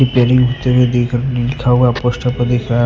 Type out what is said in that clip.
Pairing होते हुए देख लिखा हुआ पोस्ट पर देख रहे हैं।